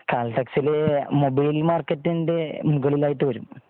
കാൽറ്റേക്സില് mobile മർകേറ്റിന്റെ മുകളിൽ ആയിട്ട് വരും